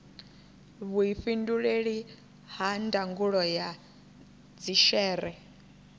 vhuifhinduleli ha ndangulo ya dzhishere